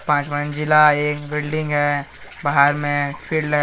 पांच मंजिला एक बिल्डिंग है। बाहर में फील्ड है।